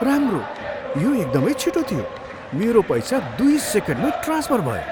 राम्रो। यो एकदमै छिटो थियो। मेरो पैसा दुई सेकेन्डमै ट्रान्सफर भयो।